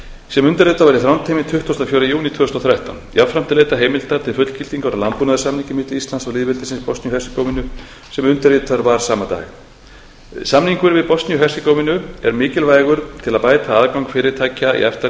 sem undirritað var í þrándheimi tuttugasta og fjórða júní tvö þúsund og þrettán jafnframt er leitað heimilda til fullgildingar á landbúnaðarsamningi milli íslands og lýðveldisins bosníu og hersegóvínu sem undirritaður var sama dag samningur við bosníu og hersegóvínu er mikilvægur til að bæta aðgang fyrirtækja í efta